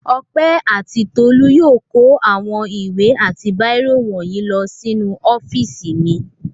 Ọpẹ́ àti Tolú yóò kó àwọn ìwé àti bírò wọ̀nyí lọ sínú ọ́fíísì mi.